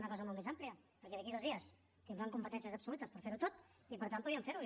una cosa molt més àmplia perquè d’aquí a dos dies tindran competències absolutes per fer ho tot i per tant podrien fer ho